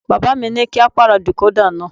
Bàbá mi ní kí á pàrọ̀ decoda náà.